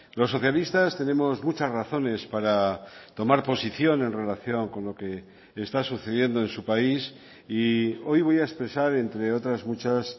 los socialistas tenemos muchas razones para tomar posición en relación con lo que está sucediendo en su país y hoy voy a expresar entre otras muchas